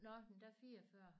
Nåh da 44